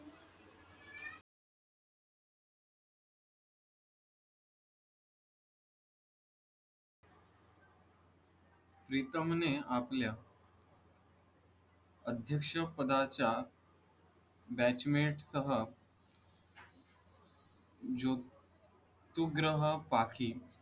प्रीतम ने आपल्या अध्यक्ष पदाच्या batchmate सह ज्योतउग्रह पाखी